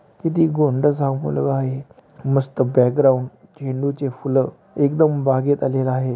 किती गोंडसं हा मुलगा आहे. मस्त बॅकग्राऊंड झेंडू चे फुलं एकदम बागेत आलेला आहे.